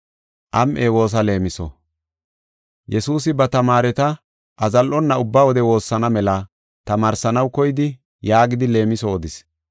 Yesuusi ba tamaareta azallonna ubba wode woossana mela tamaarsanaw koyidi yaagidi leemiso odis: